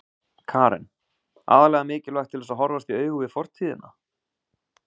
Karen: Aðallega mikilvægt til að horfast í augu við fortíðina?